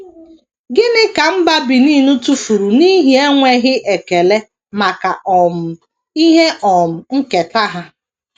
Gịnị ka mba Benin tụfuru n’ihi enweghị ekele maka um ihe um nketa ha?